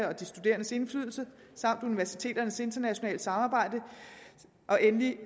og de studerendes indflydelse samt universiteternes internationale samarbejde og endelig